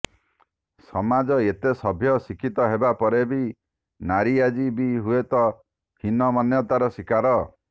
ସମାଜ ଏତେ ସଭ୍ୟ ଶିକ୍ଷିତ ହେବାପରେ ବି ନାରୀ ଆଜି ବି ହୁଏ ହୀନ ମନ୍ୟତାର ଶିକାର